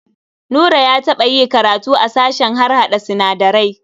Nura ya taɓa yi karatu a sashen harhaɗa sinadarai.